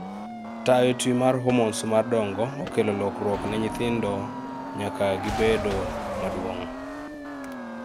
Tayo twi mar hormones mar dongo okelo lokruok ne nyithindo nyaka gibedo maduong'